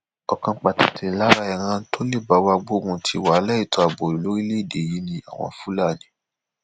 ọkan pàtàkì lára ìran tó lè bá wa gbógun ti wàhálà ètò ààbò lórílẹèdè yìí ni àwọn fúlàní